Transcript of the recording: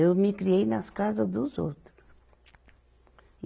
Eu me criei nas casa dos outro.